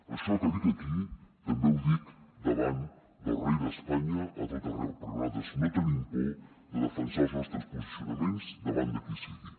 això que dic aquí també ho dic davant del rei d’espanya a tot arreu perquè nosaltres no tenim por de defensar els nostres posicionaments davant de qui sigui